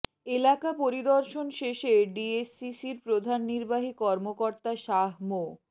এলাকা পরিদর্শন শেষে ডিএসসিসির প্রধান নির্বাহী কর্মকর্তা শাহ মো